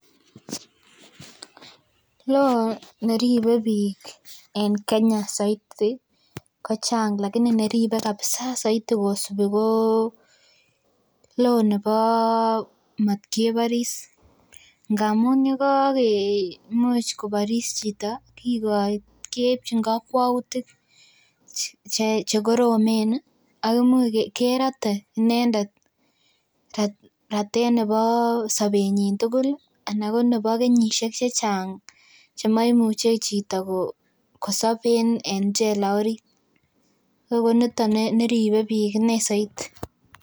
law neripe bik en Kenya soiti kochang laini neribe saoiti ko kosubi ko law nebo matkeboris ngamun yekoboris chito keibchin kokwautik chekoromen Ako imuch kerote inendet ratet nebo sobenyin tugul anan ko nebo kenyisiek chechang chemaimuche chito ko sob en chela orit ko nito neribe bik inei soiti